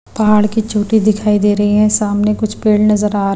पहाड़ की चोटी दिखाई दे रही है सामने कुछ पेड़ नजर आ रहे हैं।